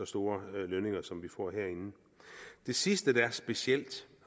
store lønninger som vi får herinde det sidste der er specielt